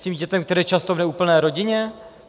S tím dítětem, které je často v neúplné rodině?